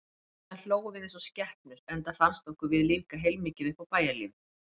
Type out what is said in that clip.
Síðan hlógum við eins og skepnur, enda fannst okkur við lífga heilmikið upp á bæjarlífið.